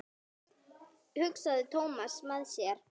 hugsaði Thomas með sér.